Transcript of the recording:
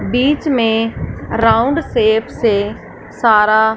बीच में round shape से सारा--